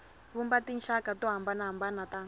vumba tinxaka to hambanahambana ta